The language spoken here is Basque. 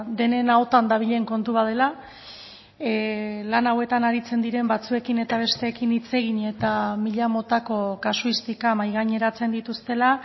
denen ahotan dabilen kontu bat dela lan hauetan aritzen diren batzuekin eta besteekin hitz egin eta mila motako kasuistika mahai gaineratzen dituztela